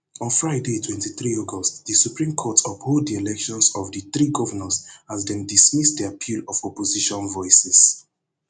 on friday twenty-three august di supreme court uphold di elections of di three govnors as dem dismiss di appeal of opposition voices